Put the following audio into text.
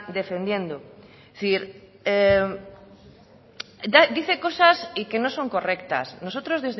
defendiendo es decir dice cosas y que no son correctas nosotros